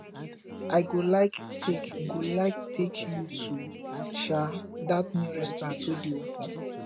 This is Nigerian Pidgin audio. i go like take go like take you to um that new restaurant wey dey open